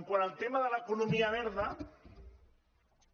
quant al tema de l’economia verda